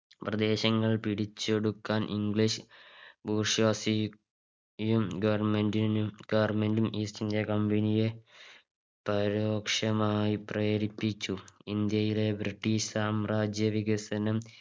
പ്രദേശങ്ങൾ പിടിച്ചെടുക്കാൻ English bourgeoisie യും government നും government ഉം East India Company യെ പരോക്ഷമായി പ്രേരിപ്പിച്ചു ഇന്ത്യയിലെ British സാമ്രാജ്യ വികസനം